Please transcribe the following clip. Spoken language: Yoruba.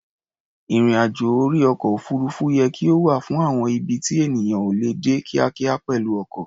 Ìrìn-àjò orí ọkọ̀-òfuurufú yẹ kí ó wà fún àwọn ibi tí ènìyàn ò lè dé kíákíá pẹ̀lú ọkọ̀.